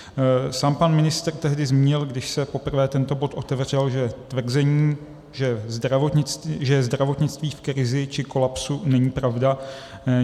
Sám pan ministr tehdy zmínil, když se poprvé tento bod otevřel, že tvrzení, že je zdravotnictví v krizi či kolapsu není pravda.